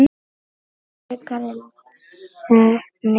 Frekara lesefni